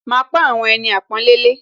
Màá pọ́n àwọn ẹni àpọ́nlé lé